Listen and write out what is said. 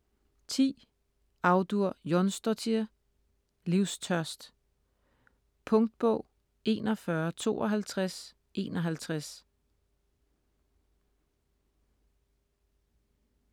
Audur Jónsdóttir: Livstørst Punktbog 415251